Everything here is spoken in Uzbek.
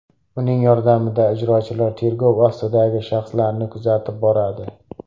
Uning yordamida ijrochilar tergov ostidagi shaxslarni kuzatib boradi.